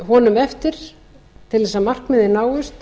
honum eftir til þess að markmiðin náist